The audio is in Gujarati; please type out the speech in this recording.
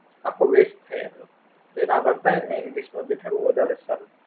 આખું West થઇ એના કરતા એને English માં બેસાડવું વધારે સારું.